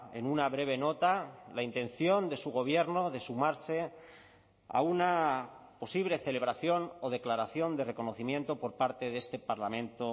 en una breve nota la intención de su gobierno de sumarse a una posible celebración o declaración de reconocimiento por parte de este parlamento